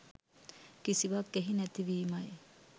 කිසිවක් එහි නැති වීමයි.